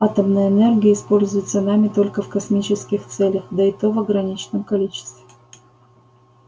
атомная энергия используется нами только в космических целях да и то в ограниченном количестве